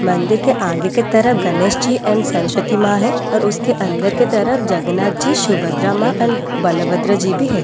मंदिर के आगे की तरफ गनेश जी एंड सरस्वती मां है और उसके अंदर के तरफ जगन्नाथ जी सुभद्रा मां एंड बलभद्र जी भी है।